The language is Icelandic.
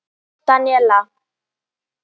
Daníela